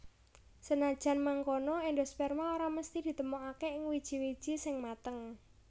Senajan mangkono endosperma ora mesthi ditemokaké ing wiji wiji sing mateng